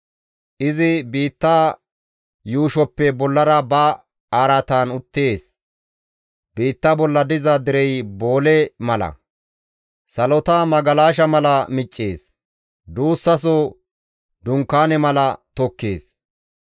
Izi biitta yuushoppe bollara ba araatan uttees; biitta bolla diza derey boole mala; salota magalasha mala miccees; duussaso dunkaane mala tokkees.